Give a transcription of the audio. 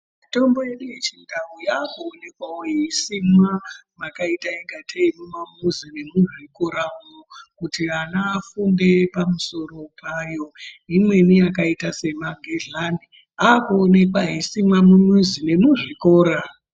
Mitombo yedu yechindau yakuonekwawo yeisimwa mwakaita ungatei mumamizi nemuzvikoramwo kuti vana vafunde pamusoro payo. Imweni yakaite semagledhlani yakuonekwa yeisimwa mumamizi nemuzvikora.